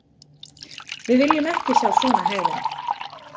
Við viljum ekki sjá svona hegðun.